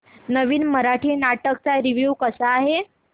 नवीन मराठी नाटक चा रिव्यू कसा आहे